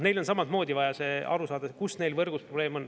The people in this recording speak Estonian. Neil on samamoodi vaja aru saada, kus neil võrgus probleem on.